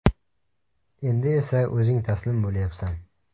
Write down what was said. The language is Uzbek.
Endi esa o‘zing taslim bo‘lyapsan.